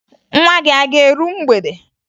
Nwa gị a ga-eru mgbede?